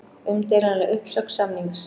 Umdeilanleg uppsögn samnings